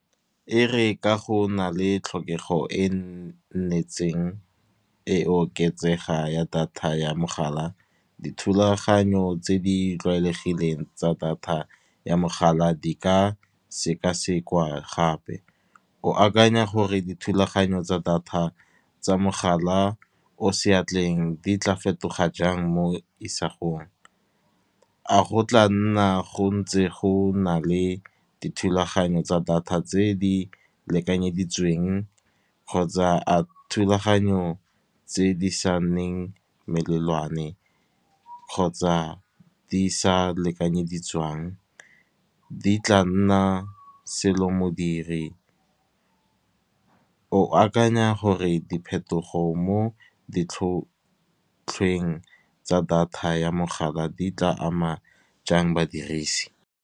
E re ka go nale tlhokego e nnetseng e oketsega ya data ya mogala, dithulaganyo tse di tlwaelegileng tsa data ya mogala di ka sekasekwa gape. O akanya gore dithulaganyo tsa data tsa mogala o seatleng di tla fetoga jang mo isagong. A go tla nna go ntse go na le dithulaganyo tsa data tse di lekanyeditsweng kgotsa, a thulaganyotse di sa nneng melelwane kgotsa di sa lekanyediswang, di tla nna selo modiri. O akanya gore diphetogo mo ditlhotlhweng tsa data ya mogala di tla ama jang badirisi.